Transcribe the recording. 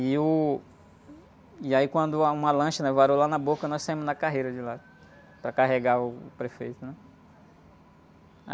E o... E aí quando arrumou a lancha, levaram lá na boca, nós saímos na carreira de lá, para carregar o prefeito, né?